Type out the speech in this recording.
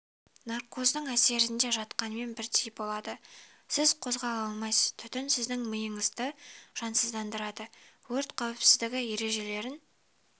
наркоздың әсерінде жатқанмен бірдей болады сіз қозғала алмайсыз түтін сіздің миыңызды жансыздандырады өрт қауіпсіздігі ережелерін